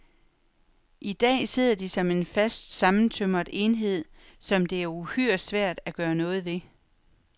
I dag sidder de som en fast sammentømret enhed, som det er uhyre svært at gøre noget ved.